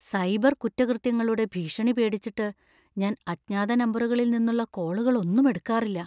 Cyber കുറ്റകൃത്യങ്ങളുടെ ഭീഷണി പേടിച്ചിട്ട് ഞാൻ അജ്ഞാത നമ്പറുകളിൽ നിന്നുള്ള കോളുകളൊന്നും എടുക്കാറില്ല .